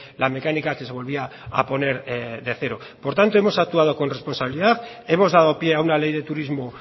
la mecánica que se volvía a poner de cero por tanto hemos actuado con responsabilidad hemos dado pie a una ley de turismo